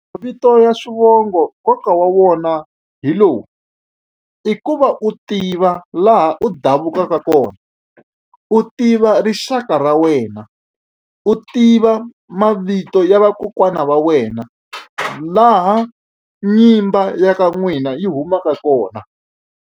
Mavito ya swivongo nkoka wa wona hi lowu i ku va u tiva laha u davukaka kona u tiva rixaka ra wena u tiva mavito ya vakokwana va wena laha nyimba ya ka n'wina yi humaka kona.